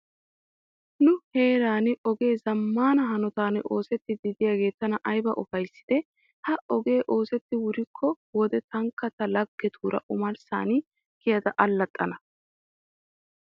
Nu heeran ogee zammaana hanotan oosettiiddi de'iyogee tana ayba ufayssiddee? Ha ogee oosettidi wuriyk wode tankka ta laggetuura omarssan kiyada allaxxxana.